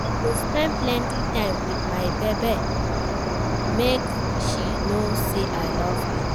I go spend plenty time wit my babe, make she know say I love her.